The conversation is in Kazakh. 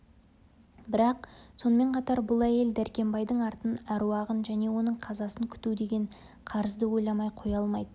бірақ сонымен қатар бұл әйел дәркембайдың артын әруағын және оның қазасын күту деген қарызды ойламай қоя алмайды